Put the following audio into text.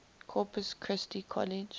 corpus christi college